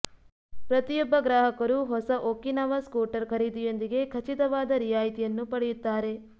ಪ್ರತಿಯೊಬ್ಬ ಗ್ರಾಹಕರು ಹೊಸ ಒಕಿನಾವಾ ಸ್ಕೂಟರ್ ಖರೀದಿಯೊಂದಿಗೆ ಖಚಿತವಾದ ರಿಯಾಯಿತಿಯನ್ನು ಪಡೆಯುತ್ತಾರೆ